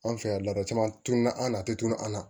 An fɛ yan ladon caman tun na an na a tɛ tunun an na